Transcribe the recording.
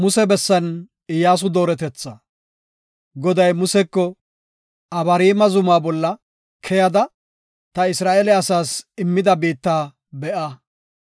Goday Museko, “Abariima Zumaa bolla keyada ta Isra7eele asaas immida biitta be7a.